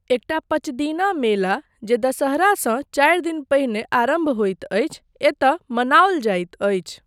एकटा पँचदिना मेला जे दशहरासँ चारि दिन पहिने आरम्भ होइत अछि एतय मनाओल जाइत अछि।